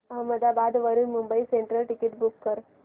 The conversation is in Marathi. अहमदाबाद वरून मुंबई सेंट्रल टिकिट बुक कर